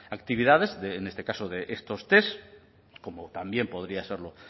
actividades en este caso de estos test como también podría serlo